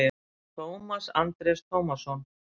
Tómas Andrés Tómasson